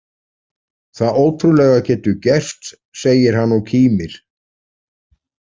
Það ótrúlega getur gerst, segir hann og kímir.